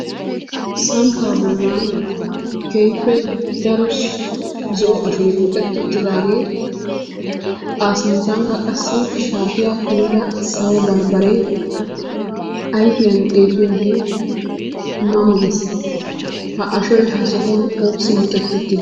Samppaa bollan keehippe daro zo'o ashoy muxetti uttidaagee A sinttankk qassi shaatiya kumida sawo barbbaree ayfiyan xeelliyode ma ma gees. Ha ashoy ha sohuwan oossi muxetti uttidee?